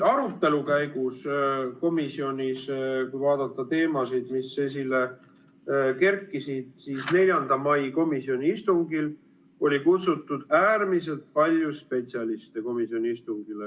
Arutelu käigus, kui vaadata teemasid, mis esile kerkisid, oli 4. mai komisjoni istungile kutsutud äärmiselt palju spetsialiste.